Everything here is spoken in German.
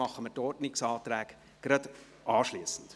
Die Ordnungsanträge behandeln wir anschliessend.